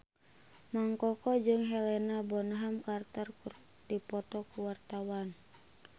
Mang Koko jeung Helena Bonham Carter keur dipoto ku wartawan